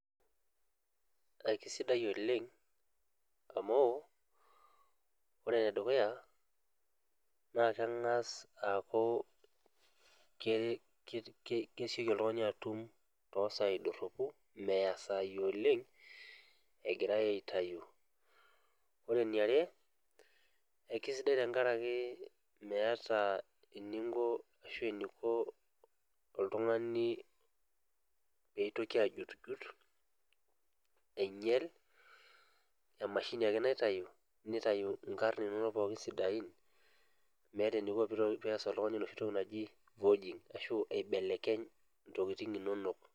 Kaisidai oleng amu ; ore enedukuya naa kengas aaku kesioki oltung'ani aatum tosai dorhopu meya isai oleng egirai aitayu Ore eniare ekisidai tenkaraki meeta eniko oltung'ani peitoki ajutijut ainyal, emashini ake naitayu nitayu ingarn inono sidain meeta eniko pee oltung'ani aas vogging aibelekeny ntokiting inonok